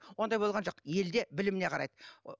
ондай болған жоқ елде біліміне қарайды